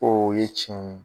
O ye tiɲɛ ye.